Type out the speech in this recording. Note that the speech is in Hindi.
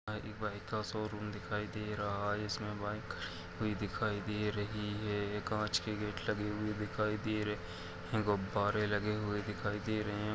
यहाँ एक बाइक का शोरूम दिखाई दे रहा है इसमें बाइक खड़ी हुई दिखाई दे रही है कांच के गेट लगे हुए दिखाई दे रहे हैं। गुब्बारे लगे हुए दिखाई दे रहे हैं।